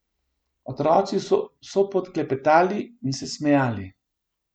Otroci so vso pot klepetali in se smejali.